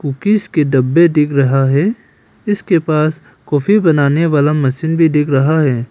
Cookies के डब्बे दिख रहा है इसके पास काफी बनाने वाला मशीन भी दिख रहा है।